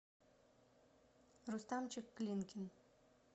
рустамчик клинкин